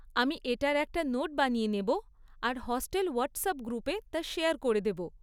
আমি এটার একটা নোট বানিয়ে নেব আর হস্টেল হোয়াটসঅ্যাপ গ্রুপে তা শেয়ার করে দেব।